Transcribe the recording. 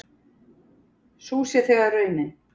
Sú sé þegar raunin.